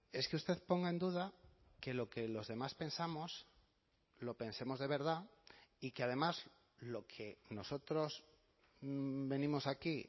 es que usted ponga en duda que lo que los demás pensamos lo pensemos de verdad y que además lo que nosotros venimos aquí